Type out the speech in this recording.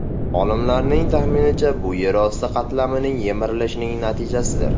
Olimlarning taxminicha, bu yer osti qatlamining yemirilishining natijasidir.